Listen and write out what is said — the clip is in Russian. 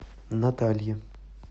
наталье